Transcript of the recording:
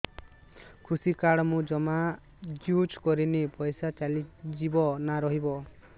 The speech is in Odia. କୃଷି କାର୍ଡ ମୁଁ ଜମା ୟୁଜ଼ କରିନି ପଇସା ଚାଲିଯିବ ନା ରହିବ